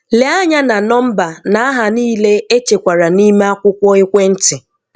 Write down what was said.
Lee anya na nọmba na aha niile echekwara n'ime akwụkwọ ekwentị.